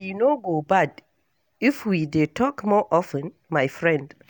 E no go bad if we dey talk more of ten, my friend.